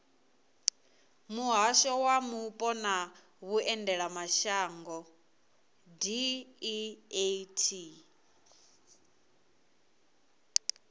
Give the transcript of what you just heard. muhasho wa mupo na vhuendelamashango deat